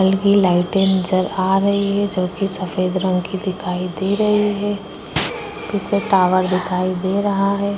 बल की लाइटे नजर आ रही है जो की सफेद रंग की दिखाई दे रही है पीछे टावर दिखाई दे रहा है।